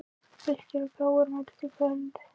Fylkir og KR mætast í kvöld